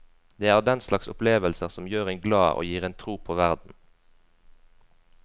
Det er den slags opplevelser som gjør en glad og gir en tro på verden.